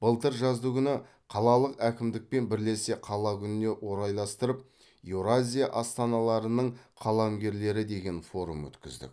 былтыр жаздыгүні қалалық әкімдікпен бірлесе қала күніне орайластырып еуразия астаналарының қаламгерлері деген форум өткіздік